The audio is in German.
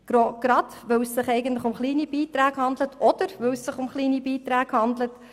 Dies, weil es sich eigentlich um kleine Beiträge handelt, oder eben gerade weil es sich um kleine Beiträge handelt.